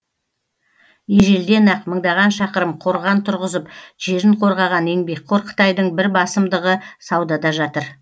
ежелден ақ мыңдаған шақырым қорған тұрғызып жерін қорғаған еңбекқор қытайдың бір басымдығы саудада жатыр